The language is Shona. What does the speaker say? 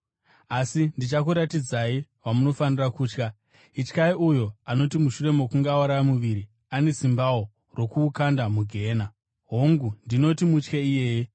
Asi ndichakuratidzai wamunofanira kutya: Ityai uyo, anoti mushure mokunge auraya muviri, ane simbawo rokuukanda mugehena. Hongu, ndinoti, mutye iyeye.